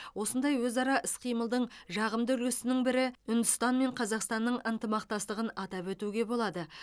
осындай өзара іс қимылдың жағымды үлгісінің бірі үндістан мен қазақстанның ынтымақтастығын атап өтуге болады